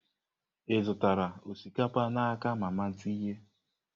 Ị zụtara osikapa n'aka mama tinye?